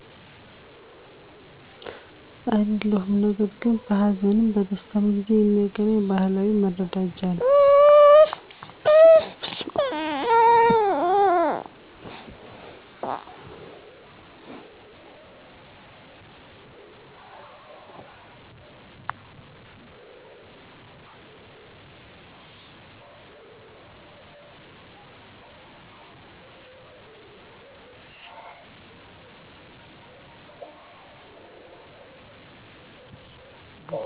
አይደለሁም ነገር ግን በሀዘንም በደስታም ጊዜ የሚያገናኝ ባህላዊ መረዳጃ ነው